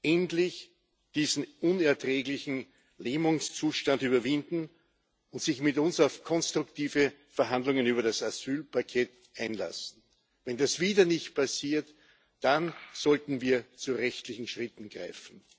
endlich diesen unerträglichen Lähmungszustand überwinden und sich mit uns auf konstruktive Verhandlungen über das Asylpaket einlassen. Wenn das wieder nicht passiert, dann sollten wir zu rechtlichen Schritten greifen.